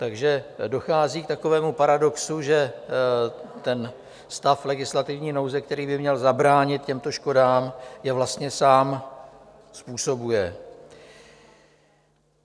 Takže dochází k takovému paradoxu, že ten stav legislativní nouze, který by měl zabránit těmto škodám, je vlastně sám způsobuje.